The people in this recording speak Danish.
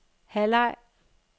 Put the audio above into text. halvleg